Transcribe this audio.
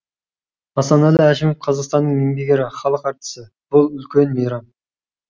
асанәлі әшімов қазақстанның еңбек ері халық әртісі бұл үлкен мейрам